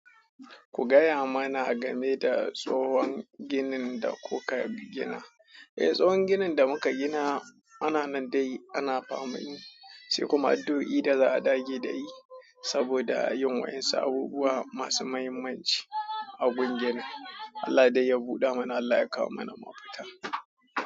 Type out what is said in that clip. Ku gaya mana game da tsohon ginin da kuka gina. Eh, tsohon ginin da muka gina ana nan dai ana faman yi sai kuma addu o i da za a dage da yi saboda yin wa'insa abubuwa masu muhimmanci a gun ginin. Allah dai ya buɗe mana, Allah ya kawo mana mafita.